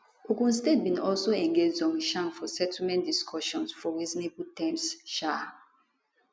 ogun state bin also engage zhongshan for settlement discussions for reasonable terms um